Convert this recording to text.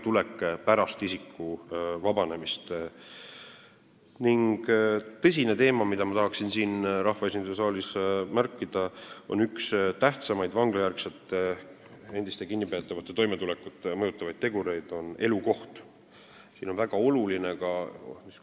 Tõsine teema, mida ma tahan siin rahvaesinduse saalis ära märkida, on üks tähtsamaid endiste kinnipeetavate toimetulekut mõjutavaid tegureid – see on elukoht.